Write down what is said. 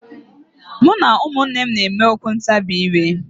Mụ na ụmụnne m na-eme okwu ntabi ire.